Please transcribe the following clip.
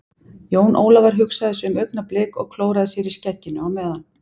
Jón Ólafur hugsaði sig um augnablik og klóraði sér í skegginu á meðan.